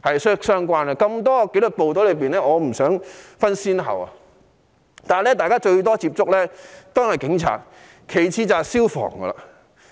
眾多紀律部隊中，我不想分先後，但大家接觸得最多的是警察，其次就是消防。